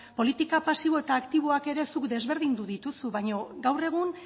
politika pasibo eta aktiboak ere zuk desberdindu dituzu baina gaur egun